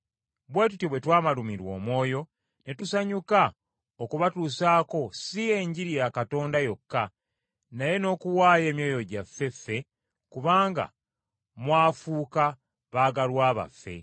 bwe tutyo bwe twabalumirwa omwoyo ne tusanyuka okubatuusaako si Enjiri ya Katonda yokka naye n’okuwaayo emyoyo gyaffe ffe, kubanga mwafuuka baagalwa baffe.